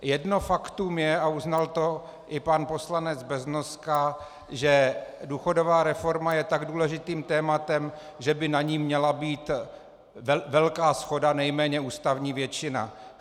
Jedno faktum je, a uznal to i pan poslanec Beznoska, že důchodová reforma je tak důležitým tématem, že by na ní měla být velká shoda, nejméně ústavní většina.